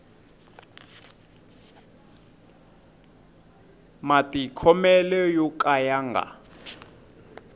matikhomele yo ka ya nga